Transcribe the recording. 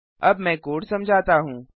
अब मैं कोड समझाता हूँ